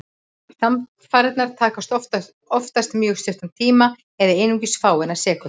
Samfarirnar taka oftast mjög stuttan tíma, eða einungis fáeinar sekúndur.